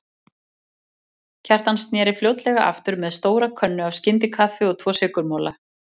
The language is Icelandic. Kjartan sneri fljótlega aftur með stóra könnu af skyndikaffi og tvo sykurmola.